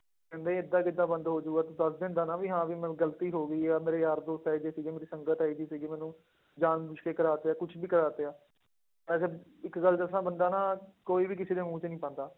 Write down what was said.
ਕਹਿੰਦੇ ਏਦਾਂ ਕਿੱਦਾਂ ਬੰਦ ਹੋ ਜਾਊਗਾ ਤੂੰ ਦੱਸ ਦਿੰਦਾ ਨਾ ਵੀ ਹਾਂ ਵੀ ਮੈਂ ਗ਼ਲਤੀ ਹੋ ਗਈ ਆ, ਮੇਰੇ ਯਾਰ ਦੋਸਤ ਇਹ ਜਿਹੇ ਸੀ ਮੇਰੀ ਸੰਗਤ ਇਹ ਜਿਹੀ ਸੀਗੀ ਮੈਨੂੰ ਜਾਣ ਬੁੱਝ ਕੇ ਕਰਵਾ ਤੇ ਆ ਕੁਛ ਵੀ ਕਰਵਾ ਤੇ ਆ, ਮੈਂ ਸਿਰਫ਼ ਇੱਕ ਗੱਲ ਦੱਸਾਂ ਬੰਦਾ ਨਾ ਕੋਈ ਵੀ ਕਿਸੇ ਦੇ ਮੂੰਹ 'ਚ ਨੀ ਪਾਉਂਦਾ